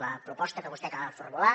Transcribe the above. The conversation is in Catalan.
la proposta que vostè acaba de formular